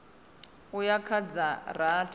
u ya kha dza rathi